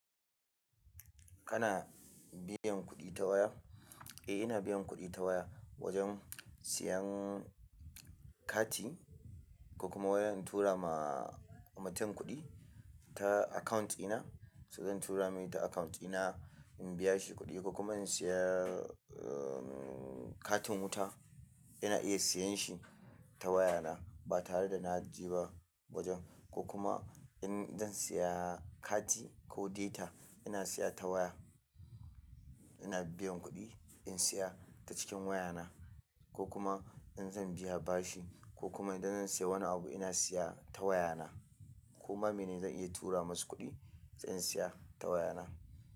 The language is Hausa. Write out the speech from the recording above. Kana biyan kuɗi ta waya? Eh ina biyan kuɗi ta waya wajen siyan kati ko kuma wai na tura ma mutum kuɗi ta account dina, so zan tura mai ta account dina in biya shi kuɗi ko kuma in saya, uhn, katin wuta ina iya siyan shi ta waya na ba tare da na je ba wajen. Ko kuma in zan saya kati, ko data, ina siya ta waya. Ina biyan kuɗi in siya ta cikin waya na. Ko kuma in zan biya bashi ko kuma idan zan siya wani abu, ina siya ta waya na. Ko ma mene zan iya tura masu kuɗi sai in siya ta waya na.